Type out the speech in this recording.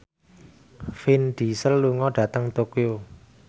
Vin Diesel lunga dhateng Tokyo